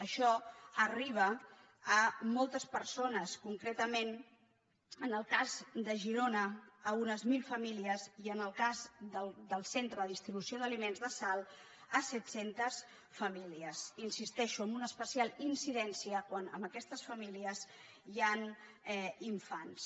això arriba a moltes persones concretament en el cas de girona a unes mil famílies i en el cas del centre de distribució d’aliments de salt a set·centes famílies hi insisteixo amb una especial incidència quan en aques·tes famílies hi han infants